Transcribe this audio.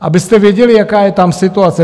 Abyste věděli, jaká je tam situace.